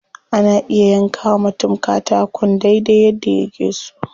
Ana iya yanka wa mutum katakon dai dai yadda yake so.